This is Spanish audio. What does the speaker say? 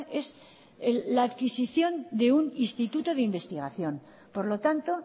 es la adquisición de un instituto de investigación por lo tanto